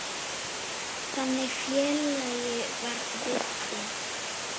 Þannig félagi var Viddi.